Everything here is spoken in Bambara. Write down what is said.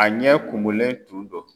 A ɲɛ kumunlen tun do.